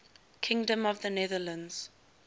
kingdom of the netherlands